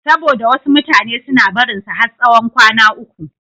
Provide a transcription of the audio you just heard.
Saboda wasu mutane suna barinsa har tsawon kwana uku.